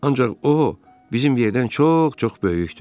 Ancaq o, bizim yerdən çox-çox böyükdür.